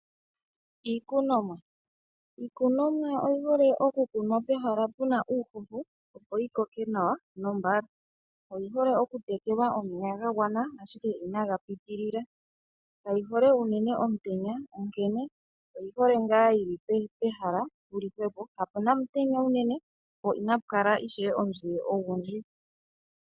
Iikunomwa Iikunomwa oyi hole oku kunwa pehala puna uuhoho opo yi koke nawa nombala. Oyi hole oku tekelwa omeya ga gwana ashike inaga pitilila, kayi hole unene omutenya, onkene oyi hole ngaa yili pehala puli hwepo, kapuna omutenya unene, po inapu kala ishewe omuzile ogundji.